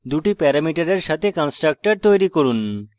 দুটি প্যারামিটারের সাথে constructor তৈরী করুন